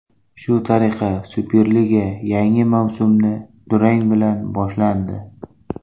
Shu tariqa Superliga yangi mavsumi durang bilan boshlandi.